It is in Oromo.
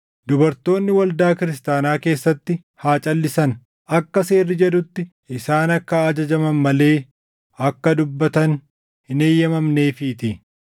Dubartoonni waldaa kiristaanaa keessatti haa calʼisan. Akka seerri jedhutti isaan akka ajajaman malee akka dubbatan hin eeyyamamneefiitii.